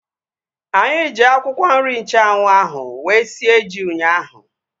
Anyị ji akwụkwọ nri nchanwu ahu wee sie ji ụnyaahụ